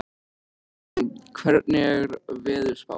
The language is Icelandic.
Evan, hvernig er veðurspáin?